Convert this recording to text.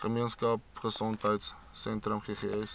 gemeenskap gesondheidsentrum ggs